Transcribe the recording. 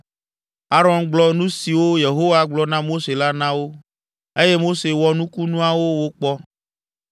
Aron gblɔ nu siwo Yehowa gblɔ na Mose la na wo, eye Mose wɔ nukunuawo wokpɔ.